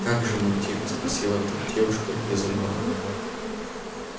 как же мы тихо спросила вдруг девушка из угла